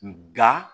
Nga